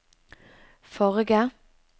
forrige